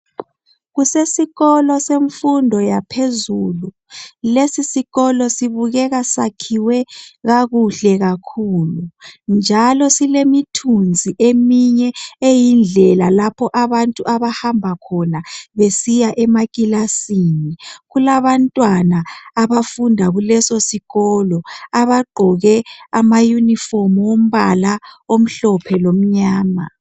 Kulesikolo semfundo yaphezulu. Lesisikolo sibukeka sakhiwe kakuhle kakhulu njalo silemithunzi eminye eyindlela lapho abantu abahamba khona besiya emakilasini. Kulabantwana abafunda kulesosikolo abagqoke amayunifomu wombala omhlophe lomnyama.